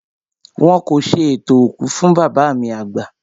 Wọn kò ṣe ètò òkú fún bàbá mi àgbà